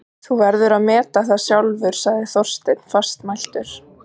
Þú verður að meta það sjálfur sagði Þorsteinn fastmæltur.